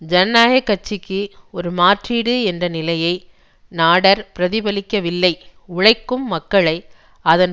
ஜனநாயக கட்சிக்கு ஒரு மாற்றீடு என்ற நிலையை நாடெர் பிரதிபலிக்கவில்லை உழைக்கும் மக்களை அதன்